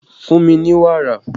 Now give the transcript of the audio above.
Fún mi ní wàrà!